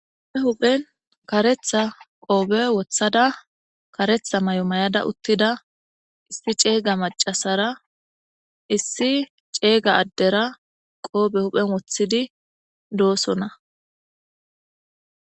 Huuphen huphen karetha qoofe wothada karetha may7o may7ada uttida issi ceega macasara issi ceega addera qoofe huphen woththidi doosona